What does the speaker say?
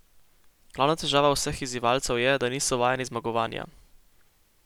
Glavna težava vseh izzivalcev je, da niso vajeni zmagovanja.